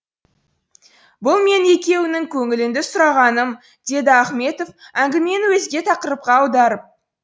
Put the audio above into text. бұл менің екеуіңнің көңіліңді сұрағаным деді ахметов әңгімені өзге тақырыпқа аударып